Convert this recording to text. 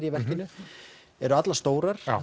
í verkinu eru allar stórar